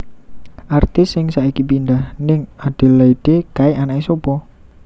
Artis sing saiki pindah ning Adelaide kae anake sopo?